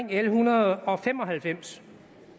l en hundrede og fem og halvfems